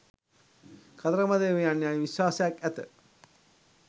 කතරගම දෙවියන් යැයි විශ්වාසයක් ඇත